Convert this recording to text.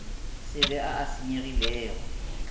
se be a a senyegilego